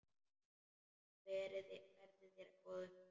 Verði þér að góðu.